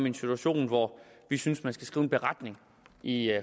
en situation hvor vi synes man skal skrive en beretning i